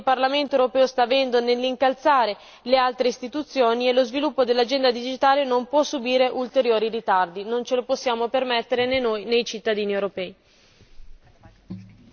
Sono contenta del ruolo che il Parlamento europeo sta avendo nell'incalzare le altre istituzioni e lo sviluppo dell'agenda digitale non può subire ulteriori ritardi, non ce lo possiamo permettere né noi né i cittadini europei.